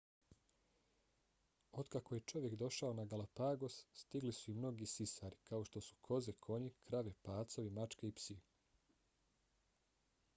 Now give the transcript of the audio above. otkako je čovjek došao na galapagos stigli su i mnogi sisari kao što su koze konji krave pacovi mačke i psi